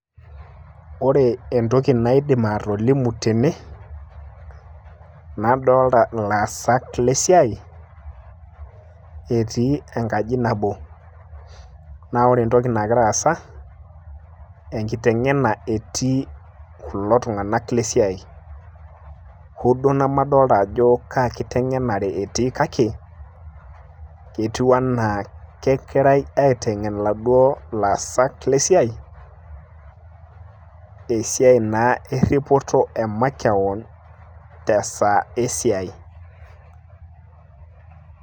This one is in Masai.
ore entoki naidim atolimu tene, nadoolta ilaasak lesiai, etii enkaji nabo, naa ore entoki nagira aasa naaa enkiteng'ena etii kulo, tung'anak lesiai, hoo duoo nemadoolta ajo kaa kiteng'enare etii kake, ketiu ana kegirae aitengen iladuo lesiai eripoto emakewon te saa esiai.